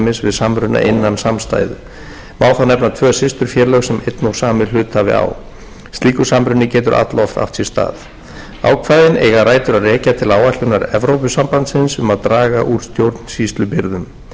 samruna innan samstæðu má þá nefna tvö systurfélög sem einn og sami hluthafi á slíkur samruni getur alloft átt sér stað ákvæðin eiga rætur að rekja til áætlunar evrópusambandsins um að draga úr stjórnsýslubyrðum tekið hefur verið tillit til